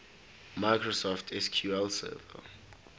microsoft sql server